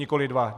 Nikoli dva.